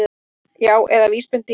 Já, eða VÍSbendingar!